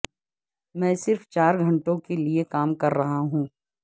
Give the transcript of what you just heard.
میں صرف چار گھنٹوں کے لئے کام کر رہا ہوں